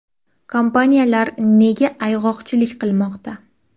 Kompaniyalar nega ayg‘oqchilik qilmoqda?